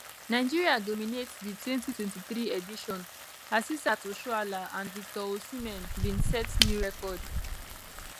nigeria dominate di 2023 edition asisat oshoala and victor osimhen bin set new record